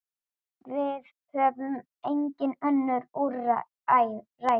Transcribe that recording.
Við höfum engin önnur úrræði.